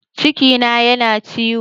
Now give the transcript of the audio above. Cikina yana ciwo